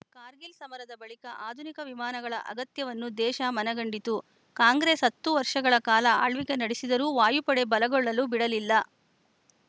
ಕಾರ್ಗಿಲ್‌ ಸಮರದ ಬಳಿಕ ಆಧುನಿಕ ವಿಮಾನಗಳ ಅಗತ್ಯವನ್ನು ದೇಶ ಮನಗಂಡಿತು ಕಾಂಗ್ರೆಸ್‌ ಹತ್ತು ವರ್ಷಗಳ ಕಾಲ ಆಳ್ವಿಕೆ ನಡೆಸಿದರೂ ವಾಯುಪಡೆ ಬಲಗೊಳ್ಳಲು ಬಿಡಲಿಲ್ಲ